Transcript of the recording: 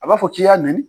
A b'a fɔ k'i y'a nɛni